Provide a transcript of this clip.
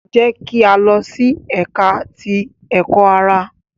Jẹ ki a lọ si Ẹka ti Ẹkọ-ara!